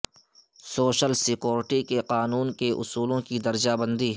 social security کے قانون کے اصولوں کی درجہ بندی